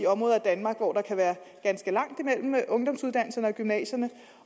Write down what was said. områder i danmark hvor der kan være ganske langt imellem ungdomsuddannelserne og gymnasierne